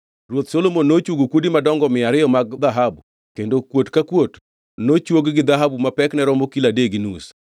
Ruoth Solomon nochwogo kuodi madongo mia ariyo mag dhahabu kendo kuot ka kuot nochwog gi dhahabu ma pekne romo kilo adek gi nus.